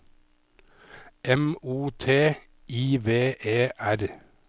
M O T I V E R